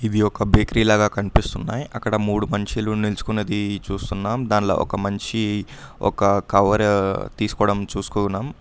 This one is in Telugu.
వీ ఒక బేకరీ లాగా కనిపిస్తున్నాయి అక్కడ మూడు మనుషులు నిలుచుకున్నది చూస్తున్నాం దానిలో ఒక మనిషి ఒక కవర్ తీసుకోవడం చూసుకో ఉన్నాం.